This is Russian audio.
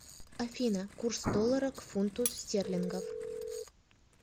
афина курс доллара к фунту стерлингов